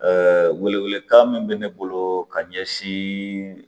wele welekan min bɛ ne bolo ka ɲɛsin